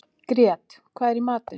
Grét, hvað er í matinn?